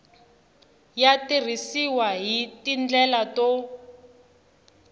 ya tirhisiwa hi tindlela to